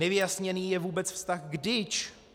Nevyjasněný je vůbec vztah k DIČ.